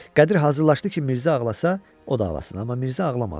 Qədir hazırlaşdı ki, Mirzə ağlasa, o da ağlasın, amma Mirzə ağlamadı.